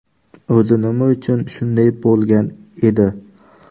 O‘zi nima uchun shunday bo‘lgan edi?